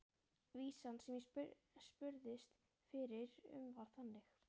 Vísan sem ég spurðist fyrir um var þannig: